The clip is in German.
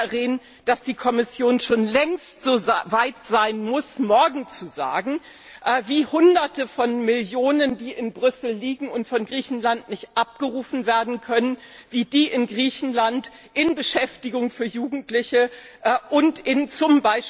Und ich glaube, Herr Rehn, dass die Kommission schon längst so weit sein muss, morgen zu sagen, wie Hunderte Millionen Euro, die in Brüssel liegen und von Griechenland nicht abgerufen werden können, in Griechenland in Beschäftigung für Jugendliche und z.